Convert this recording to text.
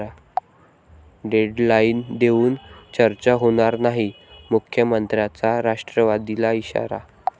deadline देऊन चर्चा होणार नाही, मुख्यमंत्र्यांचा राष्ट्रवादीला इशारा